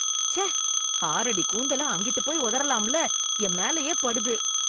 ச்சே, ஆறடி கூந்தல அங்கிட்டுப் போய் உதறலாமல்ல, என் மேலயே படுது.